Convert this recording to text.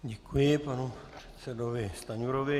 Děkuji panu předsedovi Stanjurovi.